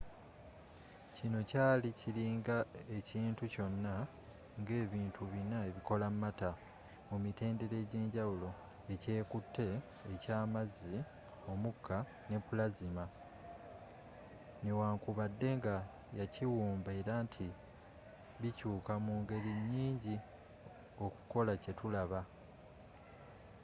kino kyali kiringa ekintu kyonna nga ebintu bina ebikola matter mu mitendera egyenjawulo: ekyekute e’kyamazzi omuka ne plasma ne wankubadde nga yakiwumba era nti bikyuka mu ngeri nyingi okukola kye tulaba